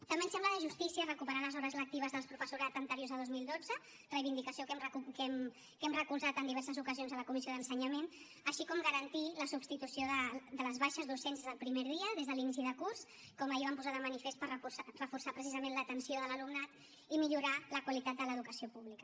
també ens sembla de justícia recuperar les hores lectives del professorat anteriors a dos mil dotze reivindicació que hem recolzat en diverses ocasions a la comissió d’ensenyament així com garantir la substitució de les baixes docents des del primer dia des de l’inici de curs com ahir vam posar de manifest per reforçar precisament l’atenció de l’alumnat i millorar la qualitat de l’educació pública